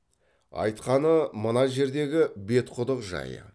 айтқаны мына жердегі бетқұдық жайы